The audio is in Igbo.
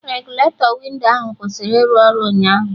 Regụletọ windo ahụ kwụsịrị ịrụ ọrụ ụnyaahụ